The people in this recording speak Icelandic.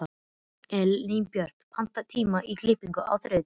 Elínbjört, pantaðu tíma í klippingu á þriðjudaginn.